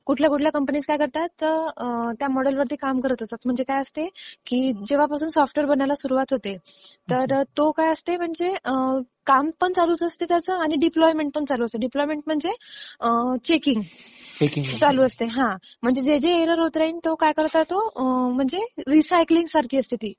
कुठल्या कुठल्या कंपनीज काय करतात, त्या ह्या मॉडेल वर काम करत असतात. म्हणजे काय असते, जेव्हापासून सॉफ्टवेअर बनायला सुरुवात होते, तर तो काय असते म्हणजे काम पण चालू असते त्याचं आणि डिप्लॉयमेन्ट पण चालू असते. डिप्लॉयमेन्ट म्हणजे चेकिंग. चालू असते. म्हणजे जे जे एरर होईल तो काय करता येतो, रिसायकलिंग सारखी असते तो.